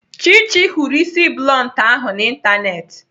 Chichi hụrụ isi bluntu ahụ n'Ịntanetị.